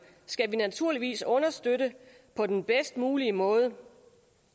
skal vi naturligvis understøtte på den bedst mulige måde for